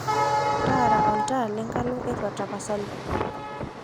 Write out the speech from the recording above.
taara oltaa le le enkalo ee erruat tapasali